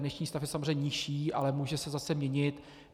Dnešní stav je samozřejmě nižší, ale může se zase měnit.